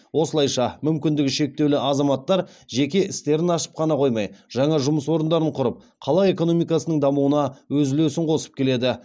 осылайша мүмкіндігі шектеулі азаматтар жеке істерін ашып қана қоймай жаңа жұмыс орындарын құрып қала экономикасының дамуына өз үлесін қосып келеді